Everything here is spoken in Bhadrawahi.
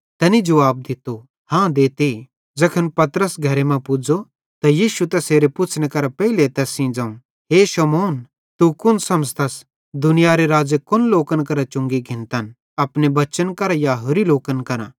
तैनी जुवाब दित्तो हाँ देते ज़ैखन पतरस घरे मां पुज़ो त यीशुए तैसेरे पुछ़नेरे पेइले तैस सेइं ज़ोवं हे शमौन तू कुन समझ़तस दुनियारे राज़े कोन लोकन करां चुंगी घिन्तन अपने बच्चन करां या होरि लोकन करां